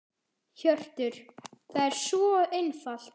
Hjörtur: Það er svo einfalt?